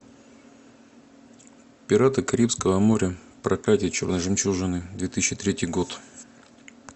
пираты карибского моря проклятие черной жемчужины две тысячи третий год